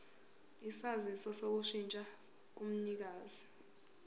isaziso sokushintsha komnikazi